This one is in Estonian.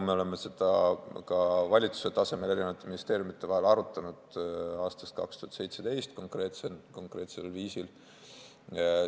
Me oleme seda ka valitsuse tasemel eri ministeeriumide vahel aastast 2017 konkreetsel viisil arutanud.